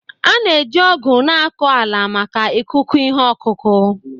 Ana eji ọgụ̀ na-akọ ala maka ịkụ ihe ọkụkụ.